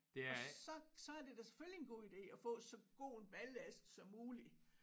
Og så så er det da selvfølgelig en god ide at få så god en ballast som muligt